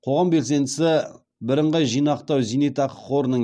қоғам белсендісі бірынғай зейнетақы жинақтау қорының